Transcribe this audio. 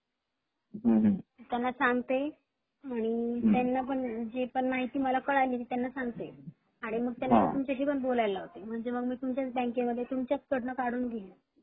आणि त्यांना पण आणि जी पण माहिती मला कळाली त्यांना सांगते आणि त्यांना तुमच्याशी पण बोलायला लावते म्हणजे मग मी तुमच्या बँकेमध्ये तुमच्याच कडण काढून घेईन